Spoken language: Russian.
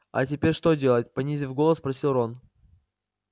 а теперь что делать понизив голос спросил рон